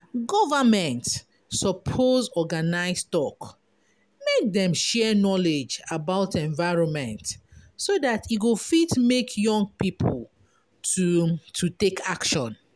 Government suppose organise talk make dem share knowledge about environment so dat e go fit make young pipo to to take action.